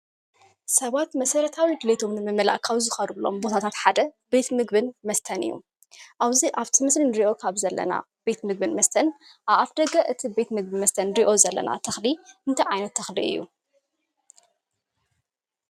ሰባት መሰረታዊ ድሌቶም ንምምላእ ካብ ዝኸድዎም ቦታታት ሓደ ቤት ምግብን መስተን እዩ። ኣብዚ ኣብቲ ምስሊ እንሪኦ ካብ ዘለና ቤት ምግብን መስተን ኣብ ኣፍ ደገ እቲ ቤት ምግብን መስተን እንሪኦ ዘለና ተኽሊ እንታይ ዓይነት ተኽሊ እዩ?